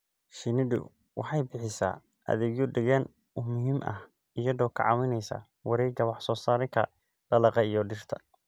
Shinnidu waxay bixisaa adeegyo deegaan oo muhiim ah iyadoo ka caawinaysa wareegga wax soo saarka dalagga iyo dhirta.